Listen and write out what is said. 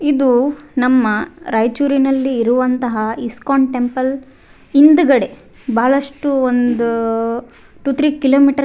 ಇದು ನಮ್ಮ ರಾಯಚೂರು ನಲ್ಲಿ ಇರುವಂತಹ ಇಸ್ಕಾನ್ ಟೆಂಪಲ್ ಹಿಂದ್ಗಡೆ ಬಹಳಷ್ಟು ಒಂದ್ ಟೂ ಥ್ರೀ ಕಿಲೋಮೀಟರ್ಸ್ --